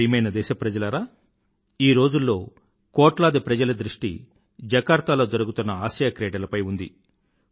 నా ప్రియమైన దేశప్రజలారా ఈ రోజుల్లో కోట్లాది ప్రజల దృష్టి జకార్తా లో జరుగుతున్న ఆసియాక్రీడలపై ఉంది